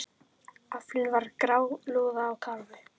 Aflinn var grálúða og karfi.